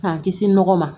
K'an kisi nɔgɔ ma